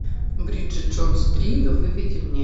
бриджит джонс три выведи мне